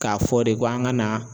K'a fɔ de ko an ka na